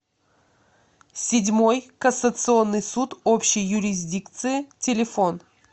седьмой кассационный суд общей юрисдикции телефон